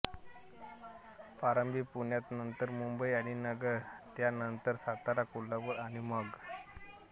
प्रारंभी पुण्यात नतंर मुंबई आणि नगर त्या नंतर सातारा कोल्हापुर आणि मग